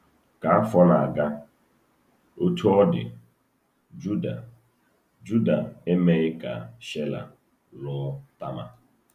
Ka afọ na-aga, Otú ọ dị, Juda Juda emeghị ka Shela lụọ Tama.